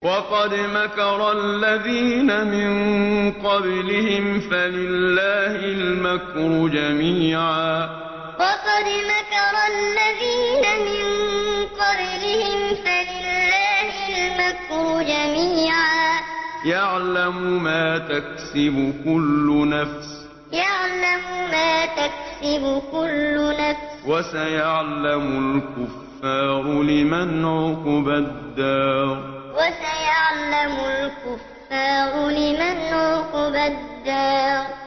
وَقَدْ مَكَرَ الَّذِينَ مِن قَبْلِهِمْ فَلِلَّهِ الْمَكْرُ جَمِيعًا ۖ يَعْلَمُ مَا تَكْسِبُ كُلُّ نَفْسٍ ۗ وَسَيَعْلَمُ الْكُفَّارُ لِمَنْ عُقْبَى الدَّارِ وَقَدْ مَكَرَ الَّذِينَ مِن قَبْلِهِمْ فَلِلَّهِ الْمَكْرُ جَمِيعًا ۖ يَعْلَمُ مَا تَكْسِبُ كُلُّ نَفْسٍ ۗ وَسَيَعْلَمُ الْكُفَّارُ لِمَنْ عُقْبَى الدَّارِ